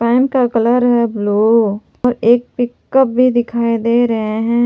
M का colour है blue और एक पिकअप भी दिखाई दे रहे हैं।